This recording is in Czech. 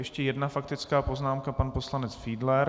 Ještě jedna faktická poznámka - pan poslanec Fiedler.